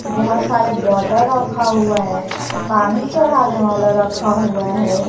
बहुत सारे बॉटल रखा हुआ है पानी चढ़ाने वाला रखा हुआ है।